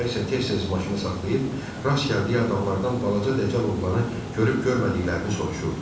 Baba isə tez-tez maşını saxlayıb, rast gəldiyi adamlardan balaca dəcəl oğlanı görüb görmədiklərini soruşurdu.